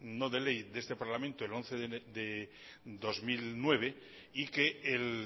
no de ley de este parlamento el once de dos mil nueve y que el